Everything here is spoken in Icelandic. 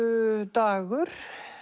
Dagur